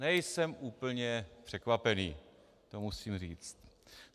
Nejsem úplně překvapený, to musím říct.